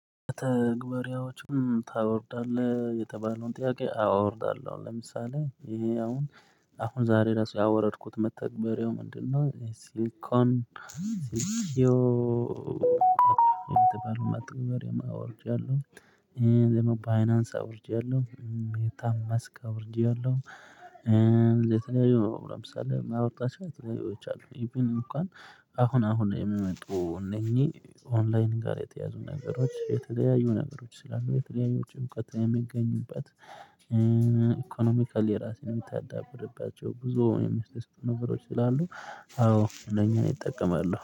ተግባሪዎችን ታወርዳለህ የተባለውን ጥያቄ አወርዳለሁ ለምሳሌ ይሄ አሁን አሁን ዛሬ ራሱ ያወረድኩት መተግበሪያውጨ የምንድነው ሲል ኮን ሲል ኪዮ በተባለው መተግበሪያም አወርጃለሁ። ደሞ ባይናንስ አውርጃለሁ ሜታማስክ አውርጃለሁ። የተለያዩ ለምሳሌ የማወርዳቸው የተለያዩዎች አሉ ኢቢን እንኳን አሁን አሁን የምመጡ እነኚህ ኦንላይን ጋር የተያዙ ነገሮች የተለያዩ ነገሮች ስላሉ የተለያዩ እውቀት የሚገኙባት። ኢኮኖሚካል የራሴን የምታዳብርባቸው ብዙ የሚስተስተን ነገሮች ስላሉ። አዎ ለኛ ይጠቀማሉ